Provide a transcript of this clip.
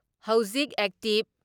ꯍꯧꯖꯤꯛ ꯑꯦꯛꯇꯤꯞ